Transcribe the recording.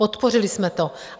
Podpořili jsme to.